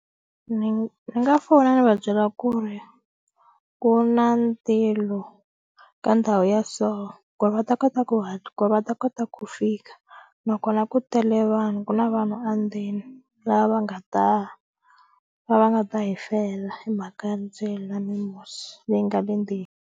Ni nga fona ni va byela ku ri ku na ka ndhawu ya so ku ri va ta kota ku hatla ku ri va ta kota ku fika nakona ku tele vanhu ku na vanhu a ndzeni lava va nga ta va va nga ta hi fela hi mhaka ya ndzilo na mimusi leyi nga le ndzeni.